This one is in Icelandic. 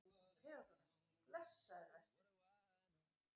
THEODÓRA: Blessaður vertu!